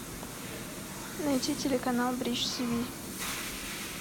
найти телеканал бридж тв